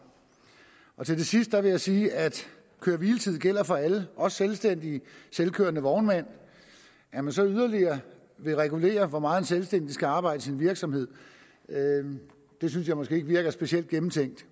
til det sidste vil jeg sige at køre hvile tids regler gælder for alle også selvstændige selvkørende vognmænd at man så yderligere vil regulere hvor meget en selvstændig skal arbejde i sin virksomhed synes jeg måske ikke virker specielt gennemtænkt